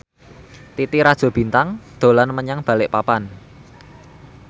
Titi Rajo Bintang dolan menyang Balikpapan